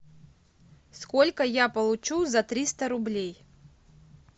сколько я получу за триста рублей